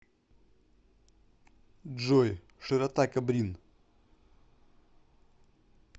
джой широта кобрин